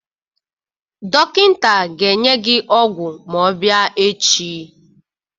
Dọkịta ga-enye gi ọgwụ ma ọ bịa echi.